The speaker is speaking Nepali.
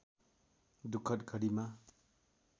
दुःखद घडीमा